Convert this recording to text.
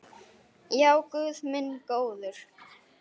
Já, guð minn góður.